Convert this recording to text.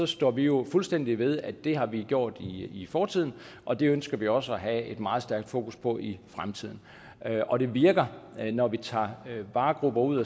står vi jo fuldstændig ved at det har vi gjort i fortiden og det ønsker vi også at have et meget stærkt fokus på i fremtiden og det virker når vi tager nogle varegrupper ud